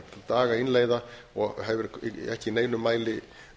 dag að innleiða og hefur ekki í neinum mæli